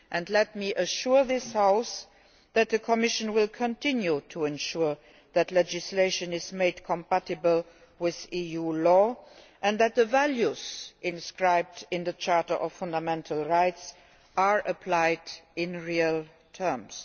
Let me assure this House that the Commission will continue to ensure that legislation is made compatible with EU law and that the values inscribed in the Charter of Fundamental Rights are applied in real terms.